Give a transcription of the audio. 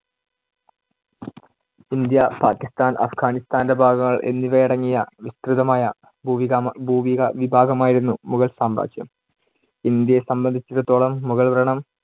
India, Pakistan, അഫ്ഗാനിസ്താന്‍ടെ ഭാഗങ്ങൾ എന്നിവയടങ്ങിയ വിസ്തൃതമായ ഭൂവിക~ ഭൂവിക വിഭാഗമായിരുന്നു മുഗൾ സാമ്രാജ്യം. ഇന്ത്യയെ സംബന്ധിച്ചെടുത്തോളം മുഗൾ ഭരണം